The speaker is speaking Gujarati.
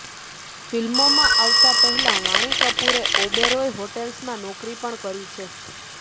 ફિલ્મોમાં આવતા પહેલા વાણી કપૂરે ઓબેરોય હોટેલ્સમાં નોકરી પણ કરી છે